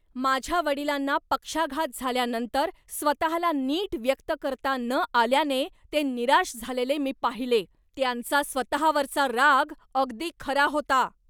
माझ्या वडिलांना पक्षाघात झाल्यानंतर स्वतःला नीट व्यक्त करता न आल्याने ते निराश झालेले मी पाहिले. त्यांचा स्वतःवरचा राग अगदी खरा होता.